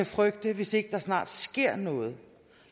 frygte hvis ikke der snart sker noget